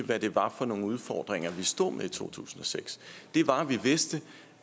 hvad det var for nogle udfordringer vi stod med i to tusind og seks det var at vi vidste